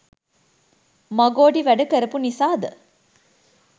මගොඩි වෑඩ කරපු නිසාද?